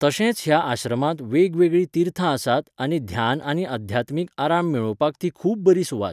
तशेंच ह्या आश्रमांत वेगवेगळीं तीर्थां आसात आनी ध्यान आनी अध्यात्मिक आराम मेळोवपाक ती खूब बरी सुवात.